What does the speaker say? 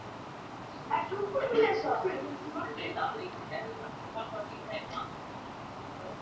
Er eitthvað að fela eða skammast sín fyrir?